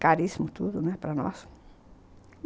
Caríssimo tudo, né, para nós!